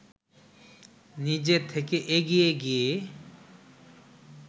নিজে থেকে এগিয়ে গিয়ে